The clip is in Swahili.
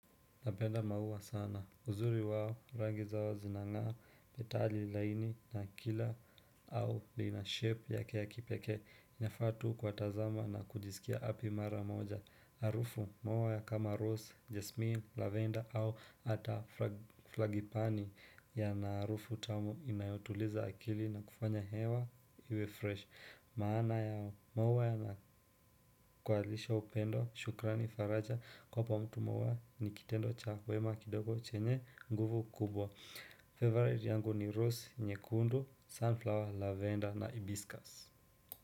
Napenda maua sana. Uzuri wao, rangi zao zinang'aa, petali laini na akila au lina shape yake ya kipekee. Inafaa tu kuwatazama na kujisikia happy mara moja. harufu maua ya kama rose, jesmin, lavender au hata flagipani yana harufu tamu inayotuliza akili na kufanya hewa iwe fresh. Maana yao, maua yanakualisha upendo, shukrani faraja kuwapa mtu maua ni kitendo cha wema kidogo chenye nguvu kubwa Favorite yangu ni rose, nyekundu, sunflower, lavender na hibiscus.